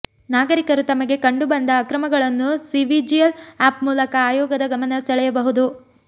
ನಾಗರಿಕರು ತಮಗೆ ಕಂಡು ಬಂದ ಅಕ್ರಮಗಳನ್ನು ಸಿವಿಜಿಲ್ ಆ್ಯಪ್ ಮೂಲಕ ಆಯೋಗದ ಗಮನ ಸೆಳೆಯಬಹುದು